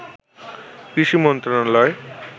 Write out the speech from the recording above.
কৃষি মন্ত্রণালয়